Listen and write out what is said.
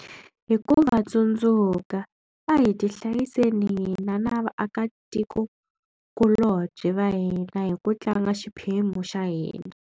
Hi ku va tsundzuka, a hi tihlayiseni hina na vaakatikokulobye va hina hi ku tlanga xiphemu xa hina.